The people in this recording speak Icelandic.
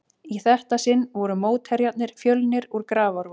Í þetta sinn voru mótherjarnir Fjölnir úr Grafarvogi.